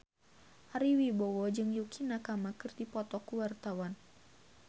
Ari Wibowo jeung Yukie Nakama keur dipoto ku wartawan